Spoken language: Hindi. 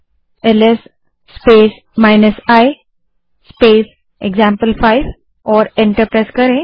LS space i space example five command type करें और एंटर दबायें